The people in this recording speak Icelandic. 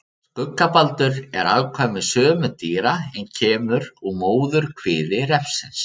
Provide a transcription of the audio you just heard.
Skuggabaldur er afkvæmi sömu dýra en kemur úr móðurkviði refsins.